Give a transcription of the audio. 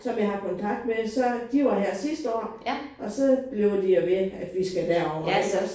Som jeg har kontakt med så de var her sidste år og så bliver de jo ved at vi skal derover iggås